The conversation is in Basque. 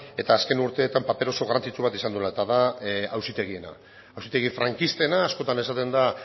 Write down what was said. eta azken urteetan paper oso garrantzitsu bat izan duela eta da auzitegiena auzitegi frankistena askotan esaten da